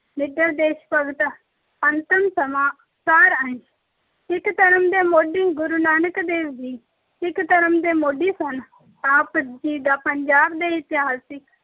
ਨਿਡਰ ਦੇਸ਼ ਭਗਤ, ਅੰਤਿਮ ਸਮਾਂ, ਸਾਰ ਅੰਸ਼, ਸਿੱਖ ਧਰਮ ਦੇ ਮੋਢੀ ਗੁਰੂ ਨਾਨਕ ਦੇਵ ਜੀ, ਸਿੱਖ ਧਰਮ ਦੇ ਮੋਢੀ ਸਨ। ਆਪ ਜੀ ਦਾ ਪੰਜਾਬ ਦੇ ਇਤਿਹਾਸ ਵਿੱਚ